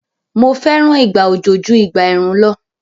Mo fẹ́ràn ìgbà òjò ju ìgbà ẹ̀rùn lọ